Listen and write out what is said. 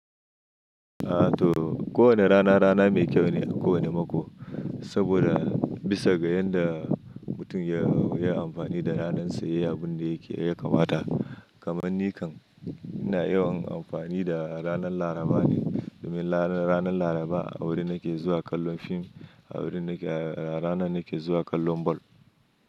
A to, ko wane rana rana mai kyau ne a ko wane mako. Saboda bisa ga yanda mutum ya, ya amfani da ranarsa, ya yi abin da yake ya kamata. Kaman ni kam ina yawan amfani da ranar Laraba ne, domin ranar Laraba a wuri nake zuwa kallon fim, a wuri nake a ranar nake zuwa kallon ball.